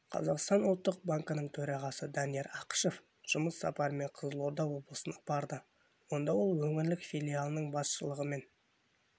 қазақстан ұлттық банкінің төрағасы данияр ақышев жұмыс сапарымен қызылорда облысына барды онда ол өңірдің филиалының басшылығымен